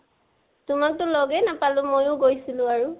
তোমাকতো লগেই নাপালো, মইও গৈছিলো বাৰু